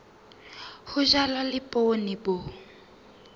ho jalwa le poone bo